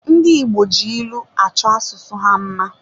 Ndi Igbo ji ịlụ achọ asụsụ ha mma